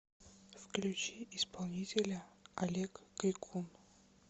включи исполнителя олег крикун